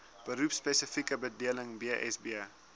beroepspesifieke bedeling bsb